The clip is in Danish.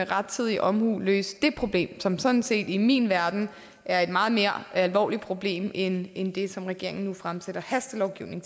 rettidig omhu løse det problem som sådan set i min verden er et meget mere alvorligt problem end det som regeringen nu fremsætter hastelovgivning